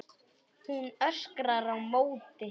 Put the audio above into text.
Hún öskrar á móti.